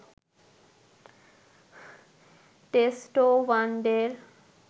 test ও ওয়ানডের